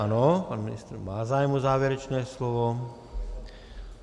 Ano, pan ministr má zájem o závěrečné slovo.